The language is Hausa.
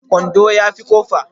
Kwando ya fi kofa